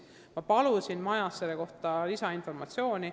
Ma palusin ministeeriumist selle kohta lisainformatsiooni.